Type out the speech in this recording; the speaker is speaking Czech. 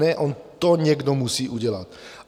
Ne, on to někdo musí udělat.